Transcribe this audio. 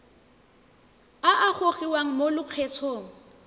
a a gogiwang mo lokgethong